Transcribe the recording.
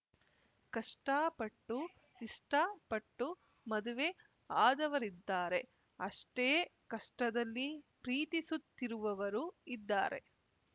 ಕಷ್ಟಪಟ್ಟು ಇಷ್ಟಪಟ್ಟು ಮದುವೆ ಆದವರಿದ್ದಾರೆ ಅಷ್ಟೇ ಕಷ್ಟದಲ್ಲಿ ಪ್ರೀತಿಸುತ್ತಿರುವವರು ಇದ್ದಾರೆ